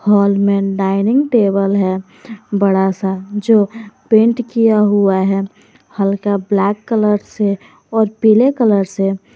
Hall में dining table है बड़ा सा जो पेंट किया हुआ है हल्का ब्लैक कलर से और पीले कलर से।